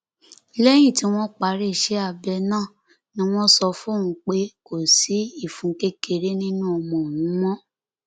lẹyìn tí wọn parí iṣẹ abẹ náà ni wọn sọ fóun pé kò sí ìfun kékeré nínú ọmọ òun mọ